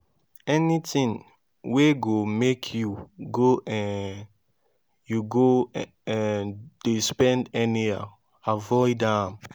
anytin wey go mek yu go um yu go um dey spend anyhow avoid am